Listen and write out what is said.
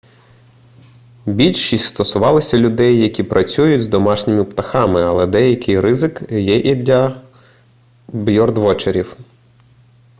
більшість стосувалися людей які працюють з домашніми птахами але деякий ризик є і для бьордвотчерів